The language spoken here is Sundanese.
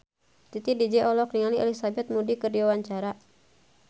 Titi DJ olohok ningali Elizabeth Moody keur diwawancara